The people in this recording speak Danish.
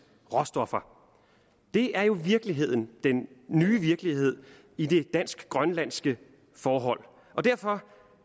råstoffer det er jo i virkeligheden den nye virkelighed i det dansk grønlandske forhold